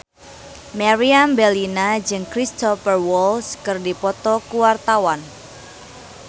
Meriam Bellina jeung Cristhoper Waltz keur dipoto ku wartawan